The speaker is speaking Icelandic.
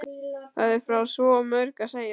Það er frá svo mörgu að segja.